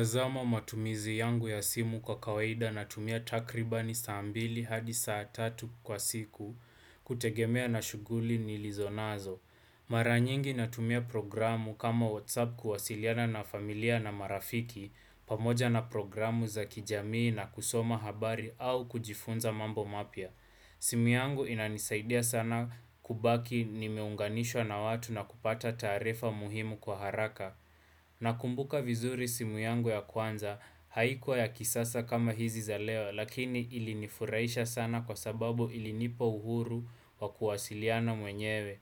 Nazama matumizi yangu ya simu kwa kawaida natumia takribani saa mbili hadi saa tatu kwa siku kutegemea na shughuli nilizonazo. Mara nyingi natumia programu kama WhatsApp kuwasiliana na familia na marafiki pamoja na programu za kijamii na kusoma habari au kujifunza mambo mapya. Simu yangu inanisaidia sana kubaki nimeunganishwa na watu na kupata taarifa muhimu kwa haraka. Nakumbuka vizuri simu yangu ya kwanza haikuwa ya kisasa kama hizi za leo lakini ilinifurahisha sana kwa sababu ilinipa uhuru wa kuwasiliana mwenyewe.